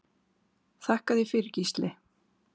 Þakka þér fyrir Gísli.